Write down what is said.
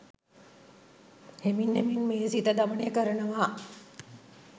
හෙමින් හෙමින් මේ සිත දමනය කරනවා.